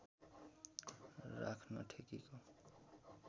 राख्न ठेकीको